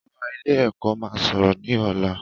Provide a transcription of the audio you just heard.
Gíwá ilé-ẹ̀kọ́ máa sọ̀rọ̀ ní ọ̀la.